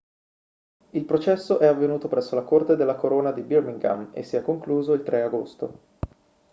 il processo è avvenuto presso la corte della corona di birmingham e si è concluso il 3 agosto